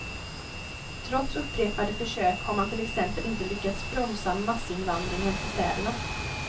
Trots upprepade försök har man till exempel inte lyckats bromsa massinvandringen till städerna.